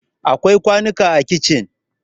akwai kwanunka a kicin